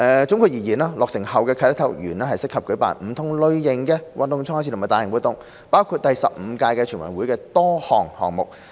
總括而言，落成後的啟德體育園適合舉辦不同類型的運動賽事及大型活動，包括第十五屆全運會的多個項目。